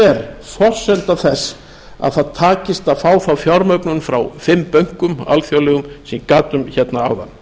er forsenda þess að það takist að fá þá fjármögnun frá fimm bönkum alþjóðlegum sem ég gat um áðan